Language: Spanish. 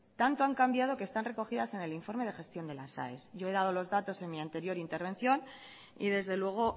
tanto han cambiado que están recogidas en el informe de gestión de las aes yo he dado los datos en mi anterior intervención y desde luego